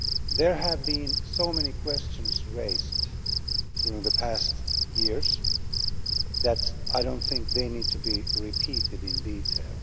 There have been so many questions raised during the past years that I do not think they need to be repeated in detail.